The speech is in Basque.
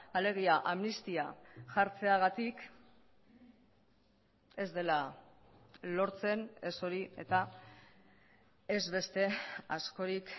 alegia amnistia jartzeagatik ez dela lortzen ez hori eta ez beste askorik